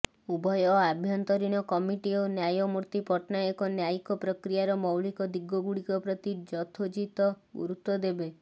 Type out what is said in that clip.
ଉଭୟ ଆଭ୍ୟନ୍ତରୀଣ କମିଟି ଓ ନ୍ୟାୟମୂର୍ତ୍ତି ପଟ୍ଟନାୟକ ନ୍ୟାୟିକ ପ୍ରକ୍ରିୟାର ମୌଳିକ ଦିଗଗୁଡ଼ିକ ପ୍ରତି ଯଥୋଚିତ ଗୁରୁତ୍ବ ଦେବେ